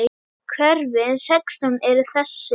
Hverfin sextán eru þessi